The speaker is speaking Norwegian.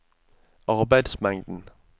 arbeidsmengden